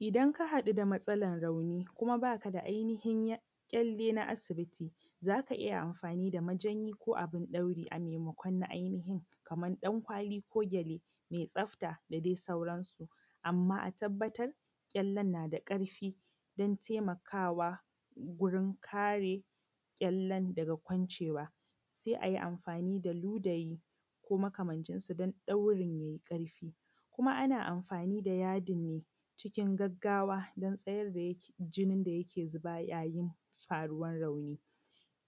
Idan ka haɗu da matsalar rauni kuma ba ka da ƙyalle na asibiti za ka iya amfani da majanyi ko abin ɗauri na ainihin kamar ɗankwali ko gyale mai tsafta da dai sauransu amma a tabbatar ƙyallen na da ƙarfi kuma yana taimakawa wurin kare ƙyallen daga kwancewa sai ai a yi amfani da ludayi ko makamancinsu don dauri mai ƙarfi. Kuma ana amfani da yadin ne cikin gaggawa din jinin da yake zuba yayin rauni,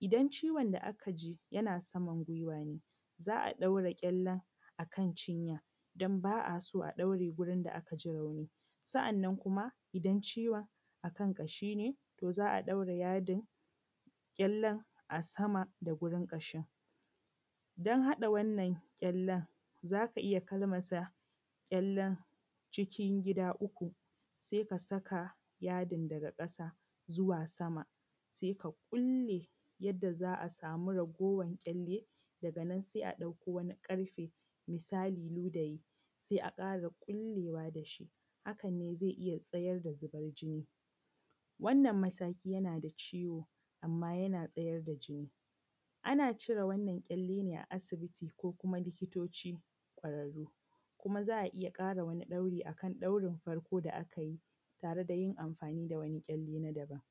idan ciwon da aka ji yana sama guiwa ne za a daura ƙyallen a kan cinya don ba a son a daure gurin da aka ji rauni. Sanna kuma idan ciwon a kan ƙashi ne to za daura ƙyallen yada a saman wurin ƙashi. Don haɗa wannan ƙyallen za ka iya kalmasa ƙyallen cikin gida uku sannan ka saka yadin daga ƙasa zuwa sama sai ka ƙulle yadda za a sama raguwar ƙyallen daga nan sai a ɗauko wani ƙarfe misali ludayi sai ƙara ƙullewa da shi, hakan ne zai iya tsayar da zuban jini. Wannan mataki yana da ciwo amma yana tsayar da jini. Ana cire wannan ƙyalle ne a asibiti ko likitoci ƙwararru kuma za a iya ɗauri akan daurin farko da aka yi tare da yin amfani da wani ƙyallen na daban.